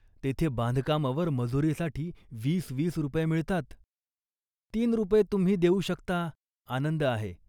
तेथे बांधकामावर मजुरीसाठी वीस वीस रुपये मिळतात. "तीन रुपये तुम्ही देऊ शकता, आनंद आहे